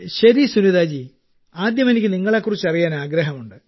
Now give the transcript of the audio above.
ശരി സുനിതാ ജി ആദ്യം എനിക്ക് നിങ്ങളെ കുറിച്ച് അറിയാൻ ആഗ്രഹമുണ്ട്